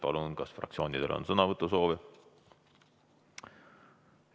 Palun, kas fraktsioonidel on sõnavõtusoovi?